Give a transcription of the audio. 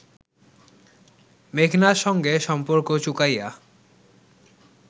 মেঘনার সঙ্গে সম্পর্ক চুকাইয়া